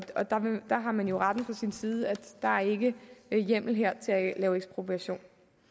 der har man jo retten på sin side der er ikke hjemmel her til at lave ekspropriation